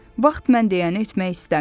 Vaxt mən deyəni etmək istəmir.